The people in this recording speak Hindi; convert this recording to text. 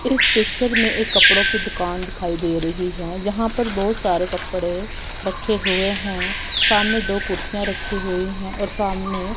इस पिक्चर में एक कपड़ों की दुकान दिखाई दे रही है यहां पर बहुत सारे कपड़े रखे हुए हैं सामने दो कुर्सियां रखी हुई हैं और सामने--